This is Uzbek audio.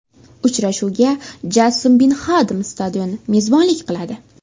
Uchrashuvga Jassim Bin Hadam stadioni mezbonlik qiladi.